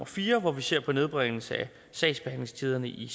fjerde hvor vi ser på nedbringelse af sagsbehandlingstiderne i